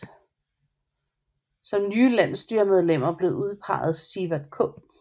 Som nye landsstyremedlemmer blev udpeget Siverth K